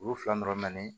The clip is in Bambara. Ulu fila dɔrɔn mɛ